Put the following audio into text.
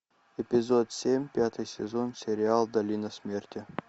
эпизод семь пятый сезон сериал долина смерти